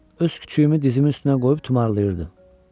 Öz küçüyümü dizimin üstünə qoyub tumarlayırdım.